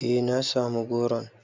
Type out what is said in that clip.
Eh na samu goron.